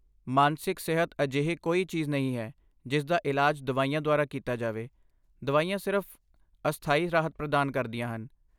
ਮਾਨਸਿਕ ਸਿਹਤ ਅਜਿਹੀ ਕੋਈ ਚੀਜ਼ ਨਹੀਂ ਹੈ ਜਿਸ ਦਾ ਇਲਾਜ ਦਵਾਈਆਂ ਦੁਆਰਾ ਕੀਤਾ ਜਾਵੇ, ਦਵਾਈਆਂ ਸਿਰਫ਼ ਅਸਥਾਈ ਰਾਹਤ ਪ੍ਰਦਾਨ ਕਰਦੀਆਂ ਹਨ।